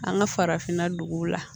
An ka farafinna duguw la